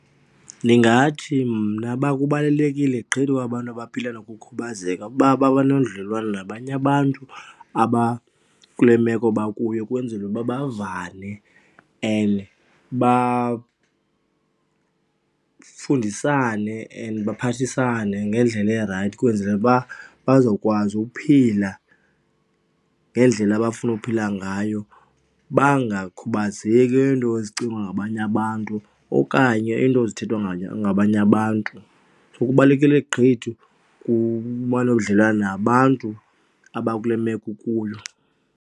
Ndingathi mna uba kubalulekile gqithi ukuba abantu abaphila nokukhubazeka uba babe nobudlelwane nabanye abantu abakule meko bakuyo kwenzelwe uba bavane and bafundisane and baphathisane ngendlela erayithi. Ukwenzela uba bazokwazi uphila ngendlela abafuna uphila ngayo, bangakhubazeki neento ezicingwa ngabanye abantu okanye iinto ezithethwa ngabanye abantu. Kubalulekile gqithi ukuba nodlelwane nabantu abakule meko ukuyo.